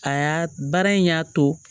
Aa baara in y'a to